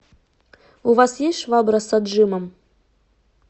у вас есть швабра с отжимом